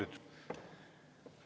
Jah, just.